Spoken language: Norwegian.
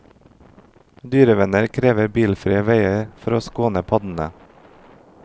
Dyrevenner krever bilfrie veier for å skåne paddene.